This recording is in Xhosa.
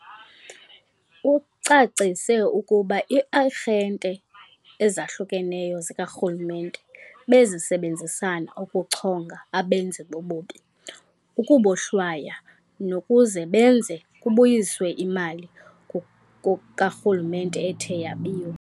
Ucacise ukuba ii-arhente ezahlukeneyo zikarhulumente bezisebenzisana ukuchonga abenzi bobubi, ukubohlwaya, nokuze benze kubuyiswe imali karhulumente ethe yebiwa.